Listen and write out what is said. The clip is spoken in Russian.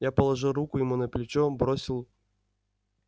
я положил руку ему на плечо бросил